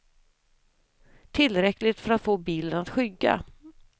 Tillräckligt för att få bilen att skygga.